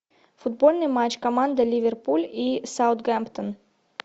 футбольный матч команда ливерпуль и саутгемптон